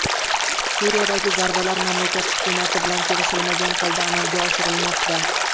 Suriyadagi zarbalar mamlakat hukumati bilan kelishilmagan holda amalga oshirilmoqda.